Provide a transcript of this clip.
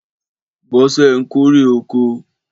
Bọ́sẹ̀ ń kórè oko